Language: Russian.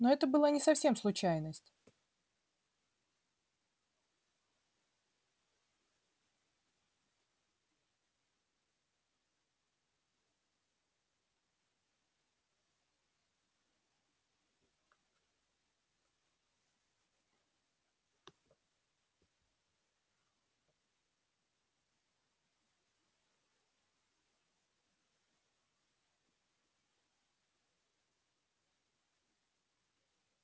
ну это была не совсем случайность